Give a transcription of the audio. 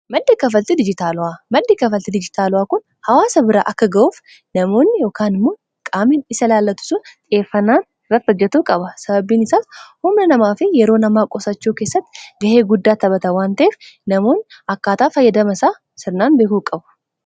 maddi kanfaalti dijiitaalawaa, maddi kanfaalti dijiitaalawaa kun hawaasa biraa akka ga'uuf namoonni immoon qaamiin isa ilaallatu xiyeeffanaan irrrat hojjatuu qaba sababiin isaas humna namaa fi yeroo namaa qosachuu keessatti gahee guddaa taphata wanteef namoon akkaataa fayyadama isaa sirnaan beekuu qabu